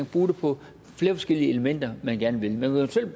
bruge det på flere forskellige elementer man gerne vil man kan